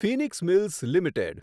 Phoenix Mills limited